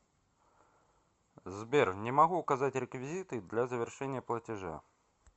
сбер не могу указать реквизиты для завершения платежа